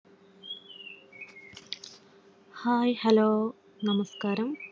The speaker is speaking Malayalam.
Hi Hello നമസ്കാരം